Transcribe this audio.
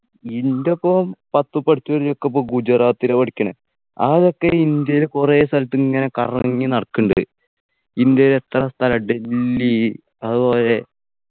ഇന്റൊപ്പോം പത്ത് പഠിച്ചവര് ഒക്കെപ്പൊ ഗുജറാത്തിലാ പഠിക്കണെ ആ ചെക്കൻ ഇന്ത്യയിൽ കുറെ സ്ഥലത്തിങ്ങനെ കറങ്ങി നടക്ക്ന്ന്ണ്ട് ഇന്ത്യയിൽ എത്ര സ്ഥലം ഡൽഹി അതുപോലെ